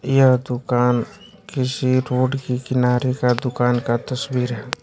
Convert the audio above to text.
यह दुकान किसी रोड के किनारे का दुकान का तस्वीर है।